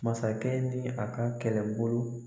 Masakɛ ni a ka kɛlɛbolo